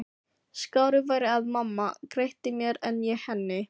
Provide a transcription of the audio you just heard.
Skárra væri að mamma greiddi mér en ég henni.